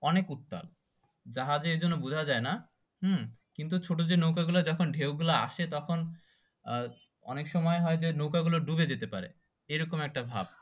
অনেক উত্তাল জাহাজে এরকম বোঝা জয়না কিন্তু ছোট যে নৌকো গুলো যখন ঢেউ গুলো আসে তখন অনেক সময় হয় যে নৌকো গুলো ডুবে যেতে পারে এরকম একটা ভাব